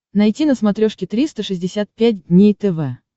найти на смотрешке триста шестьдесят пять дней тв